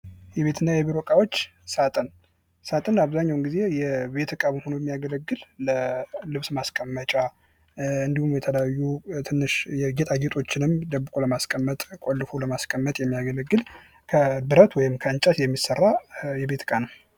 የቤትና የቢሮ እቃዎች ሳጥን፤ ሳጥን አብዛኛውን ጊዜ የቤት ዕቃ ሆኑ ያገለግል ለልብስ ማስቀመጫ እንዲሁም የተለያዩ ትንሽ ጌጣጌጦችንም ደብቆ ለማስቀመጥ ቁልፎ ለማስቀመጥ የሚያገለግል ከብረት ወይም ከእንጨት የሚሰራ የቤት ዕቃ ነው።